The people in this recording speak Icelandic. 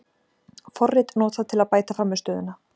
Forrit notað til að bæta frammistöðuna